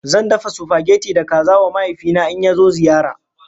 Zan dafa supageti da kaza wa mahaifina in ya zo ziyara.